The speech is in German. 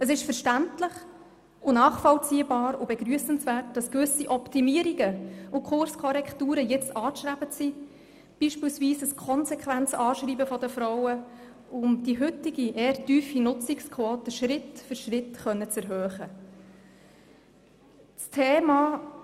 Es ist verständlich, nachvollziehbar und begrüssenswert, dass gewisse Optimierungen und Kurkorrekturen anzustreben sind, beispielsweise ein konsequentes Anschreiben der Frauen, um die heutige, eher tiefe Nutzungsquote Schritt für Schritt erhöhen zu können.